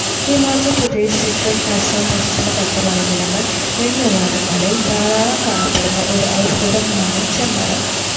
ഹിമാചൽ പ്രദേശ്, സിക്കിം, അസം, പശ്ചിമഘട്ടമലനിരകൾ എന്നിവിടങ്ങളിൽ ധാരാളം കാണപ്പെടുന്ന ഒരു ഔഷധം ആണ് ചെമ്മരം.